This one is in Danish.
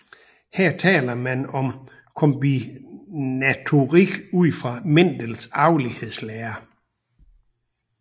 Her taler man om kombinatorik ud fra Mendel arvelighedslære